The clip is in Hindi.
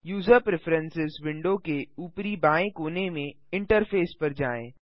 यूज़र प्रिफ्रेरेंसेस विंडो के ऊपरी बाएँ कोने में इंटरफेस पर जाएँ